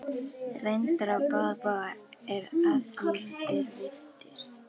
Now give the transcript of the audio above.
Reyndar á báða bóga að því er virtist.